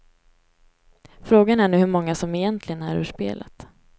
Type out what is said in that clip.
Frågan är nu hur många som egentligen är ur spelet.